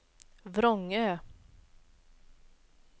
Vrångö